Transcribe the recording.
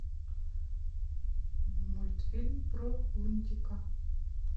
мультфильм про лунтика